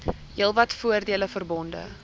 heelwat voordele verbonde